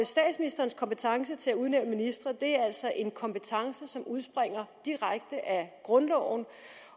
statsministerens kompetence til at udnævne ministre er altså en kompetence som udspringer direkte af grundloven